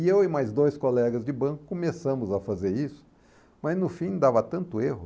E eu e mais dois colegas de banco começamos a fazer isso, mas no fim dava tanto erro.